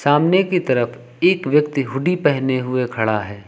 सामने की तरफ एक व्यक्ति हुडी पहने हुए खड़ा है।